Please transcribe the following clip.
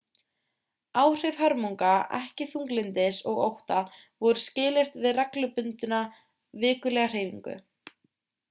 áhrif hörmunga ekki þunglyndis og ótta voru skilyrt við reglubundna vikulega hreyfingu